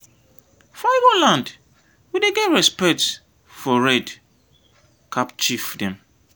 for ibo land we dey get respects for red cap chief dem.